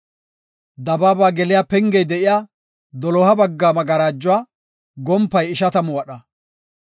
Dabaaba geliya pengey de7iya, doloha bagga magarajuwa gompay ishatamu wadha.